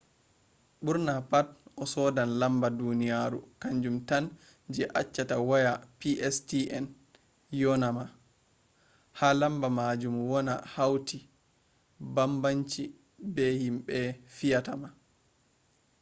ɓurna pat a sodan lamba duniyaru kanjum tan je acchata waya pstn yona ma. ha lamba majum woni hauti bambanci be himɓe fiyinta ma